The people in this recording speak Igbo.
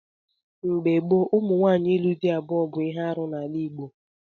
Mgbe gboo, nwaanyị ịlụ di abụọ bụ ihe arụ n'ala Igbo.